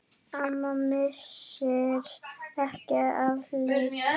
Amma missir ekki af leik.